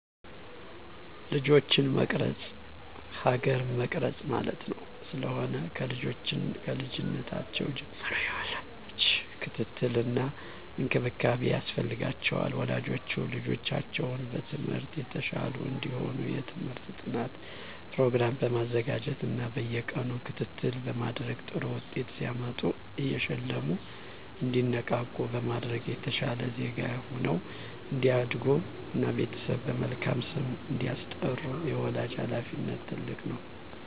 ልጆችን መቅረፅ ሀገር መቅረፅ ማለት ስለሆነ። ከልጅነታቸው ጀምሮ የወላጅ ክትትል እና እንክብካቤ ያስፈልጋቸዋል። ወላጆች ልጆቻቸው በትምህርት የተሻሉ እንዲሆኑ የትምህርት ጥናት ፕሮግራም በማዘጋጀት እና በየቀኑ ክትትል በማድረግ ጥሩ ውጤት ሲያመጡ እየሸለሙ እንዲነቃቁ በማድረግ የተሻለ ዜጋ ሁነው እንዲያድጉ እና ቤተሰብን በመልካም ስም እንዲያስጠሩ የወላጅ ሀላፊነት ትልቅ ነው።